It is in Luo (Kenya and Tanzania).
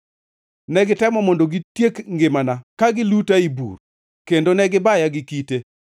Negitemo mondo gitiek ngimana ka giluta ei bur; kendo negibaya gi kite;